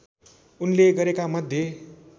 उनले गरेका मध्ये